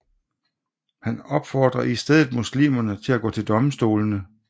Han opfordrer i stedet muslimerne til at gå til domstolene